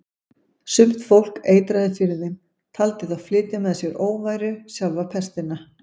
Sumt fólk eitraði fyrir þeim, taldi þá flytja með sér óværu, sjálfa pestina.